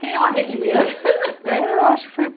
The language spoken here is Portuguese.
Quem é a Relia? é eu acho que